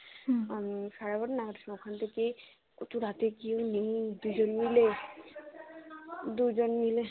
সাড়ে বারোটা নাগাদ ওখান থেকে রাত্রে কেউ নেই দুজনে মিলে দুজন মিলে